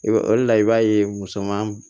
I b'a o de la i b'a ye musoman